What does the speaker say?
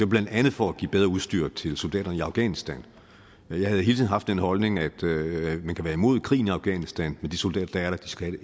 blandt andet for at give bedre udstyr til soldaterne i afghanistan jeg har hele tiden haft den holdning at man kan være imod krigen i afghanistan men at de soldater der er der skal